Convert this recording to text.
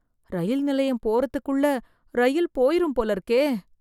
ரயில் நிலையம் போறதுக்குள்ள ரயில் போயிரும் போல இருக்கே